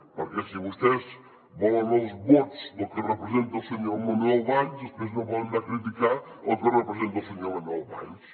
perquè si vostès volen els vots del que representa el senyor manuel valls després no poden anar a criticar el que representa el senyor manuel valls